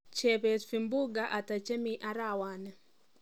Chebet vimbunga ata chemii arawani